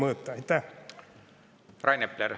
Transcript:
Rain Epler, teine küsimus, palun!